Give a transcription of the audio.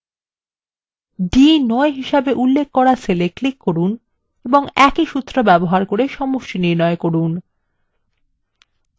d9 হিসেবে উল্লেখ করা cell এ click করুন এবং একই সূত্র ব্যবহার করে সমষ্টি নির্ণয় করুন